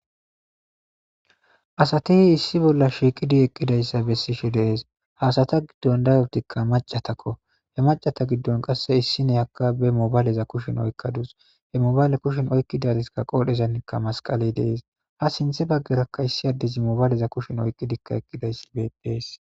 asatii issi bolla shiiqidi eqqidayssa bessishe dees. hasata giddon dayoptikka macatakko. he macata giddon qasse issine haka be mobayleza kushin oykkadus he mobayle kushin oykkidatika qoodhezanikka masqale dees. ha sinthe baggerakka issi addizi mobayleza kushin oyqqidikka eqqidayssi beetees.